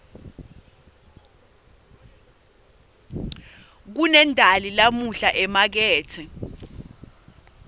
kunendali namuhla emakethe